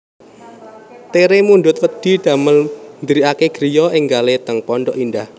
Tere mundhut wedhi damel ndiriake griya enggale teng Pondok Indah